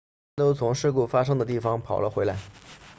他们都从事故发生的地方跑了回来